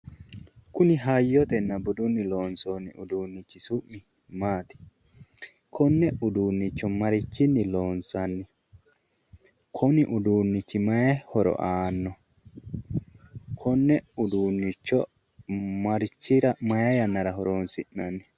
Kuni hayyotenna budunni loonsoonni uduunnichi su'mi maati? konne uduunnicho marichinni loonsanni? kuni uduunnichi mayi horo aannno? konne uduunnicho may yannara horonsi'nanni?